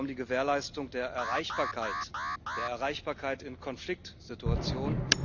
Hier ging es ja um die Gewährleistung der Erreichbarkeit, der Erreichbarkeit in Konfliktsituationen.